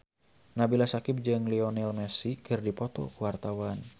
Nabila Syakieb jeung Lionel Messi keur dipoto ku wartawan